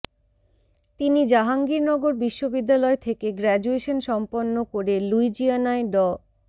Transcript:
তিনি জাহাঙ্গীরনগর বিশ্ববিদ্যালয় থেকে গ্রাজুয়েশন সম্পন্ন করে লুইজিয়ানায় ড